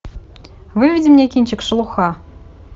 выведи мне кинчик шелуха